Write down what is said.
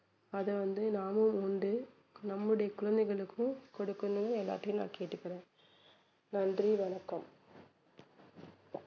அத வந்து நாமளும் உண்டு நம்முடைய குழந்தைகளுக்கும் கொடுக்கணும்னு எல்லார் கிட்டயும் நான் கேட்டுக்குறேன் நன்றி வணக்கம்